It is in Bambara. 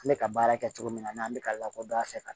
N bɛ ka baara kɛ cogo min na n'an bɛ ka lakodɔn a fɛ ka